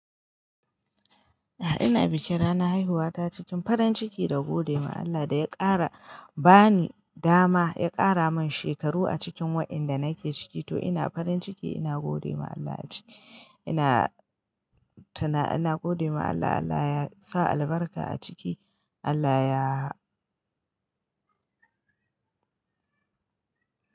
A'a ina bikin ranar haihuwata cikin farin ciki da gode ma Allah da ya ƙara ba ni dama ya ƙara min shekaru a cikin waɗanda nake ciki, to ina farin ciki ina gode ma Allah a ciki ina tuna ina gode ma Allah Allah ya sa albarka a ciki Allah ya.